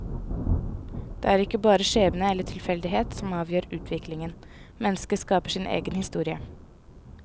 Det er ikke bare skjebne eller tilfeldighet som avgjør utviklingen, mennesket skaper sin egen historie.